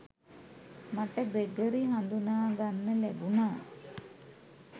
මට ග්‍රෙගරි හඳුනා ගන්න ලැබුණා